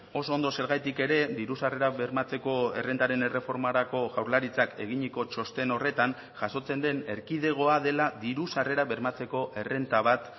oso ondo zergatik ere diru sarrerak bermatzeko errentaren erreformarako jaurlaritzak eginiko txosten horretan jasotzen den erkidegoa dela diru sarrerak bermatzeko errenta bat